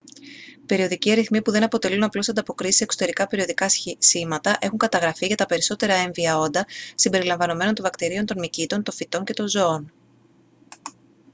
περιοδικοί ρυθμοί που δεν αποτελούν απλώς ανταποκρίσεις σε εξωτερικά περιοδικά σήματα έχουν καταγραφεί για τα περισσότερα έμβια όντα συμπεριλαμβανομένων των βακτηρίων των μυκήτων των φυτών και των ζώων